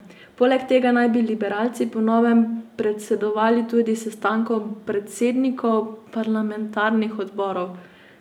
Poleg tega naj bi liberalci po novem predsedovali tudi sestankom predsednikov parlamentarnih odborov.